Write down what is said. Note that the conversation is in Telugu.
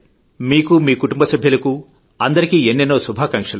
మీకూ మీ కుటుంబ సభ్యులకు అందరికీ ఎన్నెన్నో శుభాకాంక్షలు